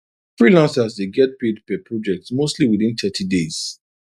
freelancers dey get paid per project mostly within thirty days